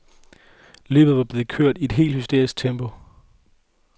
Løbet var blevet kørt i et helt hysterisk tempo.